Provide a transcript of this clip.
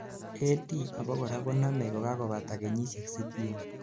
AD abakora konomei kogagobata kenyisiek sitini